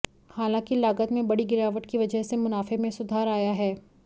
हालांकि लागत में बड़ी गिरावट की वजह से मुनाफे में सुधार आया है